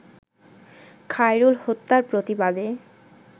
খায়রুল হত্যার প্রতিবাদে